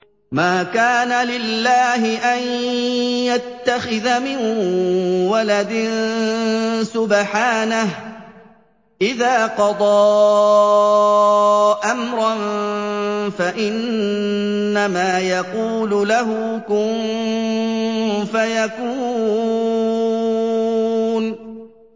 مَا كَانَ لِلَّهِ أَن يَتَّخِذَ مِن وَلَدٍ ۖ سُبْحَانَهُ ۚ إِذَا قَضَىٰ أَمْرًا فَإِنَّمَا يَقُولُ لَهُ كُن فَيَكُونُ